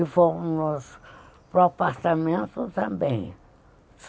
E fomos para o apartamento também.